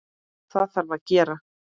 Það þarf að gera.